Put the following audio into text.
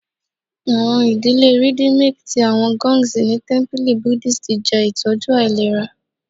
Awọn idile rhythmic ti awọn gongs ni tẹmpili Buddhist jẹ itọju ailera